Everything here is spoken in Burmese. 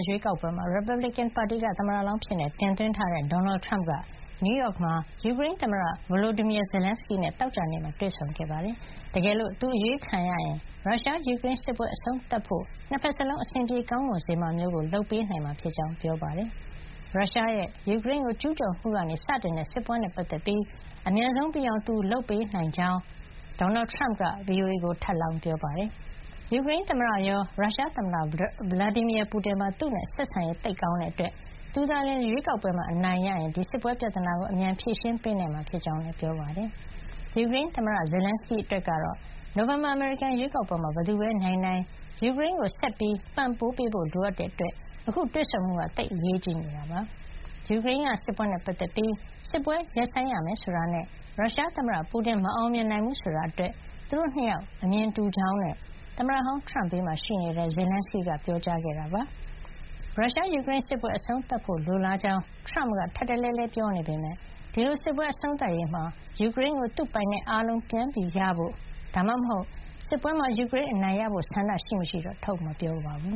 ရွေးကောက်ပွဲမှာ ရီပတ်ဘလစ်ကန်ပါတီက သမ္မတလောင်းအဖြစ် တင်သွင်းထားတဲ့ ဒေါ်နယ်ထရမ့်က နယူးရောက်မှာ ယူကရိန်း သမ္မတ Volodymyr Zelenskyy နဲ့ သောကြာနေ့မှာ တွေ့ဆုံခဲ့ပြီး၊ တကယ်လို့ သူရွေးခံရရင် ရုရှား- ယူကရိန်းစစ်ပွဲ အဆုံးသတ်ဖို့အတွက် နှစ်ဘက်စလုံး အဆင်ပြေ ကောင်းမွန်စေမှာမျိုးကို လုပ်ပေးနိုင်မှာ ဖြစ်ကြောင်း ပြောကြားခဲ့ပါတယ်။ ရုရှားရဲ့ ယူကရိန်းကို ကျူးကျော်မှုကနေ စတင်ခဲ့တဲ့ စစ်ပွဲနဲ့ ပတ်သက်ပြီး အမြန်ဆုံးပြီးအောင် သူလုပ်ပေးနိုင်ကြောင်း သမ္မတဟောင်း ထရမ့်က VOA ကို ထပ်လောင်း ပြောပါတယ်။ ယူကရိန်းသမ္မတရော ရုရှားသမ္မတ Vladimir Putin ပါ သူနဲ့ ဆက်ဆံရေး သိပ်ကောင်းနဲ့ အတွက် သူသာ ရွေးကောက်ပွဲမှာ အနိုင်ရရင် ဒီစစ်ပွဲပြဿနာကို အမြန်ဖြေရှင်းပေးနိုင်မှာ ဖြစ်ကြောင်းလည်း ပြောပါတယ်။ ယူကရိန်းသမ္မတ Zelenskyy အတွက် တော့ နိုဝင်ဘာ အမေရိကန်ရွေးကောက်ပွဲမှာ ဘယ်သူပဲ နိုင်နိုင် ယူကရိန်းကို ဆက်ပံ့ပိုးပေးဖို့ လိုအပ်တာကြောင့် အခုတွေ့ဆုံမှုဟာ သိပ်အရေးကြီးနေတာပါ။ ယူကရိန်းက စစ်ပွဲနဲ့ ပတ်သက်ပြီး စစ်ပွဲရပ်ဆိုင်းရမယ် ဆိုတာနဲ့ ရုရှားသမ္မတ Putin မအောင်မြင်နိုင်ဘူး ဆိုတာ အတွက် သူတို့ နှစ်ယောက် အမြင်တူကြောင်းနဲ့ သမ္မတဟောင်း ထရမ့်ဘေးမှာ ရှိနေတဲ့ Zelenskyy ကပြောကြားခဲ့ပါတယ်။ ရုရှား- ယူကရိန်း စစ်ပွဲ အဆုံးသတ်ဖို့ လိုလားကြောင်း ထရမ့်က ထပ်တလဲလဲ ပြောနေပေမယ့် ဒီလို စစ်ပွဲအဆုံးသတ်ရေးမှာ ယူကရိန်းကို သူ့ပိုင်နက်အားလုံး ပြန်ရဖို့ ဒါမှမဟုတ် စစ်ပွဲမှာ ယူကရိန်းအနိုင်ရဖို့ ဆန္ဒရှိမရှိတော့ ထုတ်မပြောပါဘူ